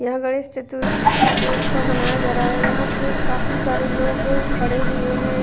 यहां गणेश चतुर्थी का त्योहार मनाया जा रहा है यहां बहुत सारे लोग जमा हो गए हैं।